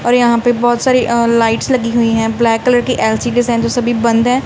और यहां पे बहुत सारी अ लाइट्स लगी हुई हैं ब्लैक कलर की एल_सी_डी जो सभी बंद है।